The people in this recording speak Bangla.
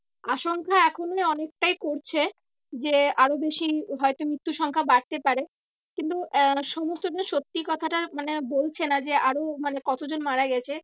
আসংখ্যা এখনো অনেকটাই করছে। যে আরো বেশি হয়তো মৃত্যুর সংখ্যা বাড়তে পারে। কিন্তু আহ সমস্তটা সত্যি কথাটা মানে বলছে না যে আরো মানে কতজন মারা গেছে